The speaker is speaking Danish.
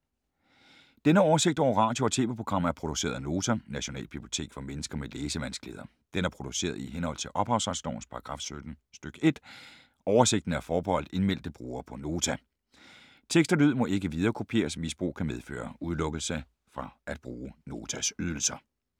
Denne oversigt over radio og TV-programmer er produceret af Nota, Nationalbibliotek for mennesker med læsevanskeligheder. Den er produceret i henhold til ophavsretslovens paragraf 17 stk. 1. Oversigten er forbeholdt indmeldte brugere på Nota. Tekst og lyd må ikke viderekopieres. Misbrug kan medføre udelukkelse fra at bruge Notas ydelser.